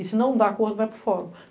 E se não dá acordo, vai para o Fórum.